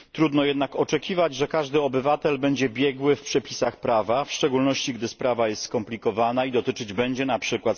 Trudno jednak oczekiwać, że każdy obywatel będzie biegły w przepisach prawa, w szczególności, gdy sprawa jest skomplikowana i dotyczyć będzie np.